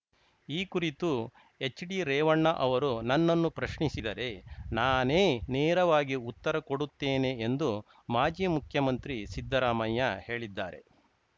ಈ ಕುರಿತು ಎಚ್‌ಡಿ ರೇವಣ್ಣ ಅವರು ನನ್ನನ್ನು ಪ್ರಶ್ನಿಸಿದರೆ ನಾನೇ ನೇರವಾಗಿ ಉತ್ತರ ಕೊಡುತ್ತೇನೆ ಎಂದು ಮಾಜಿ ಮುಖ್ಯಮಂತ್ರಿ ಸಿದ್ದರಾಮಯ್ಯ ಹೇಳಿದ್ದಾರೆ